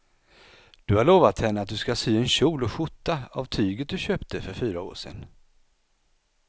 Du har lovat henne att du ska sy en kjol och skjorta av tyget du köpte för fyra år sedan.